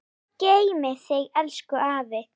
Guð geymi þig elsku afi.